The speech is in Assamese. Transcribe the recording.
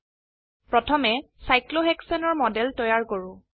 প্ৰথমে চাইক্লোহেশানে সাইক্লোহেক্সেন এৰ মডেল তৈয়াৰ কৰো